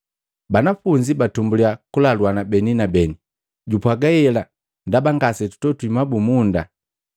Banafunzi batumbulia kulaluana beni na beni, “Jupwaga hela ndaba ngasetwatogwi mabumunda.”